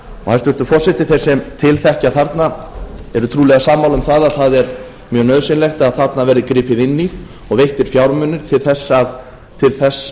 hæstvirtur forseti þeir sem til þekkja þarna eru trúlega sammála um að það er mjög nauðsynlegt að þarna verði gripið inn í og veittir fjármunir til þess